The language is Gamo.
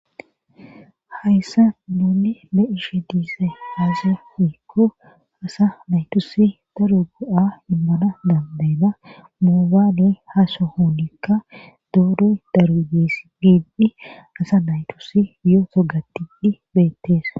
hayssa nuunni be ishe diise haasi hiikko asa naytusi daru go7a immana dandayna moobaaley haso hounikka dooroy daru dees giidi asa naytusi yoo togatidi beetteesa